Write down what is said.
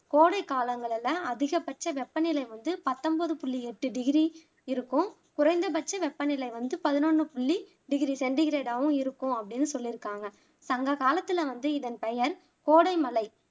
கோடைக்காலங்களில அதிகபட்ச வெப்பநிலை வந்து பத்தொம்போது புள்ளி எட்டு டிகிரி இருக்கும் குறைந்தபட்ச வெப்பநிலை வந்து பதினொன்னு புள்ளி டிகிரி செண்டிகிரேடாவும் இருக்கும் அப்படின்னு சொல்லிருக்காங்க சங்ககாலத்துல வந்து இதன் பெயர் கோடைமலை